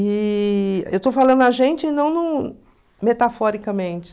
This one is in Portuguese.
E eu estou falando a gente e não num metaforicamente.